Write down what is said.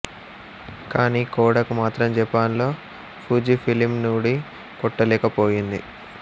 కానీ కొడాక్ మాత్రం జపాన్ లో ఫూజీఫిలిం ను ఢీ కొట్టలేకపోయింది